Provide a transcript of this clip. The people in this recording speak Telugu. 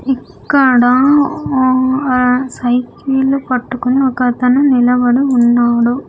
ఇక్కడ ఒ ఆ సైకిల్ పట్టుకొని ఒకతను నిలబడు ఉన్నాడు.